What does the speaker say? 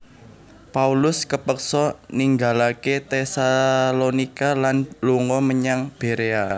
Paulus kepeksa ninggalaké Tesalonika lan lunga menyang Berea